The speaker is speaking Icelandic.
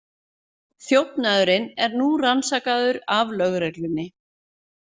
Þjófnaðurinn er nú rannsakaður af lögreglunni